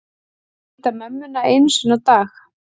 Hitta mömmuna einu sinni á dag